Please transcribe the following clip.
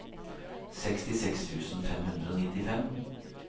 sekstiseks tusen fem hundre og nittifem